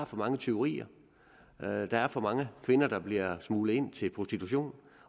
for mange tyverier der er for mange kvinder der bliver smuglet ind til prostitution